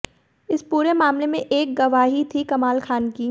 इस पूरे मामले में एक गवाही थी कमाल खान की